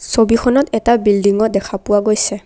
ছবিখনত এটা বিল্ডিংও দেখা পোৱা গৈছে।